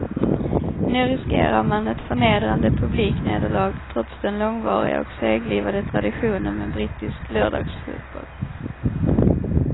Nu riskerar man ett förnedrande publiknederlag trots den långvariga och seglivade traditionen med brittisk lördagsfotboll.